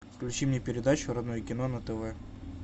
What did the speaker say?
включи мне передачу родное кино на тв